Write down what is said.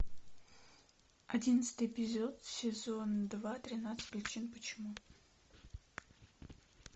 одиннадцатый эпизод сезон два тринадцать причин почему